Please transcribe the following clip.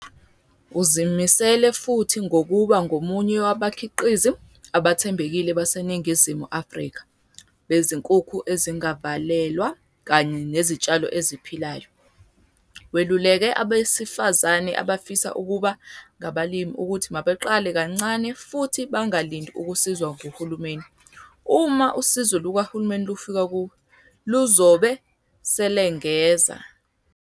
Uzimisele futhi ngokuba ngomunye wabakhiqizi abathembekile baseNingizimu Afrika bezinkukhu ezingavalelwa kanye nezitshalo eziphilayo. Weluleke abesifazane abafisa ukuba ngabalimi ukuthi mabaqale kancane futhi bangalindi ukusizwa nguhulumeni. "Uma usizo lukahulumeni lufika kuwena, luzobe selengeza."